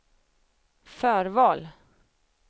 förval